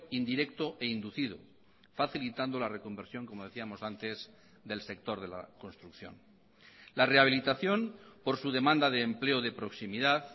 indirecto e inducido facilitando la reconversión como decíamos antes del sector de la construcción la rehabilitación por su demanda de empleo de proximidad